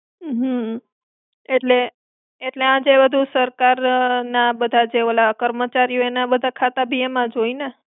હમ્મ. એટલે, એટલે આ જે બધું સરકાર ના બધા જે ઓલ કર્મચારીઓ ના ખાતા બી એમાં જ હોય ને?